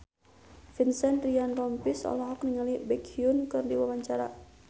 Vincent Ryan Rompies olohok ningali Baekhyun keur diwawancara